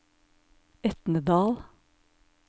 Etnedal